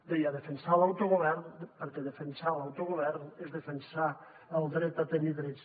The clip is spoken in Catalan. deia defensar l’autogovern perquè defensar l’autogovern és defensar el dret a tenir drets